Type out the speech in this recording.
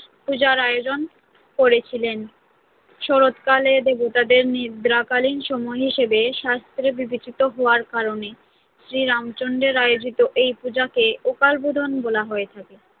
পূজার আয়োজন করেছিলেন শরৎকাল দেবতাদের নিদ্রাকালীন সময় হিসেবে শাস্ত্রে বিবেচিত হওয়ার কারণে শ্রী রামচন্দ্রের আয়োজিত এই পূজাকে অকালবোধন বলা হয়ে থাকে।